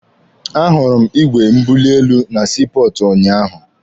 A hụrụ m igwe mbuli elu na sii pọọtụ unyaahụ.